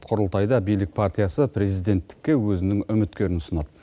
құрылтайда билік партиясы президенттікке өзінің үміткерін ұсынады